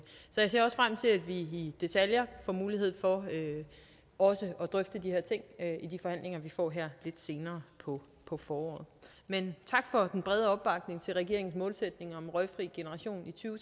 vi i detaljer får mulighed for også at drøfte de her ting i de forhandlinger vi får her lidt senere på på foråret men tak for den brede opbakning til regeringens målsætning om en røgfri generation i to